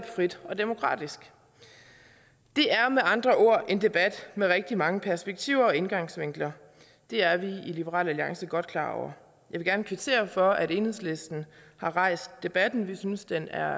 frit og demokratisk det er med andre ord en debat med rigtig mange perspektiver og indgangsvinkler det er vi i liberal alliance godt klar over vil gerne kvittere for at enhedslisten har rejst debatten vi synes den er